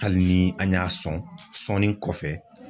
Hali ni an y'a sɔn sɔnni kɔfɛ.